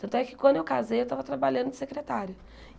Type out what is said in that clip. Tanto é que quando eu casei, eu estava trabalhando de secretária.